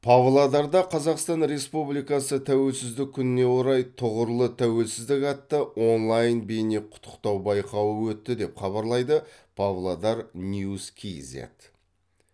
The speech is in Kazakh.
павлодарда қазақстан республикасы тәуелсіздік күніне орай тұғырлы тәуелсіздік атты онлайн бейне құттықтау байқауы өтті деп хабарлайды павлодар ньюс кизет